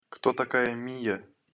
кто такая мия